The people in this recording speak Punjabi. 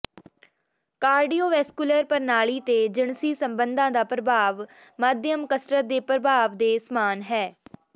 ਕਾਰਡੀਓਵੈਸਕੁਲਰ ਪ੍ਰਣਾਲੀ ਤੇ ਜਿਨਸੀ ਸੰਬੰਧਾਂ ਦਾ ਪ੍ਰਭਾਵ ਮਾਧਿਅਮ ਕਸਰਤ ਦੇ ਪ੍ਰਭਾਵ ਦੇ ਸਮਾਨ ਹੈ